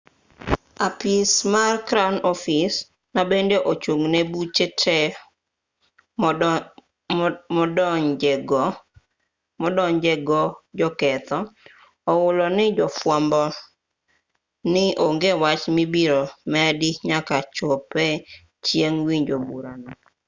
apis mar crown office ma bende ochung' ne buche te modonjego joketho ohulo ne jofwambo ni onge wach mibiro medi nyaka chopre chieng' winjo burano